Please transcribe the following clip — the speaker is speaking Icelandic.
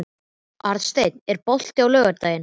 Arnsteinn, er bolti á laugardaginn?